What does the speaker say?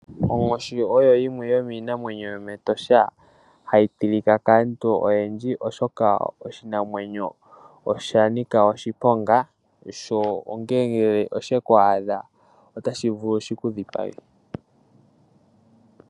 Onkoshi oyo yimwe yomiinamwenyi yomEtosha hayi tilika kaantu oyendji, oshoka oshinamwenyo osha nika oshiponga. Sho ngele sheku adha otashi vulu shiku dhipage.